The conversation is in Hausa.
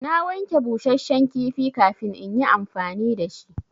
Na wanke busashen kifi kafin in yi amfani da shi.